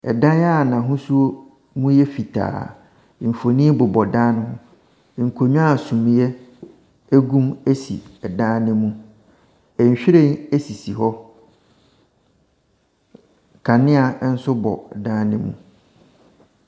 Ɛdan a n'ahosuo mu ɛyɛ fitaa. Nfonni bobɔ dan ne ho. Nkonwa sumiɛ egum esi ɛdan no mu. Nwhiren esisi hɔ. Kanea ɛnso bɔ dan ne mu.